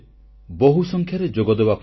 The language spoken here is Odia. ମୋର ପ୍ରିୟ ଦେଶବାସୀଗଣ ଆପଣ ସମସ୍ତଙ୍କୁ ନମସ୍କାର